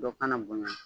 Dɔ kana bonya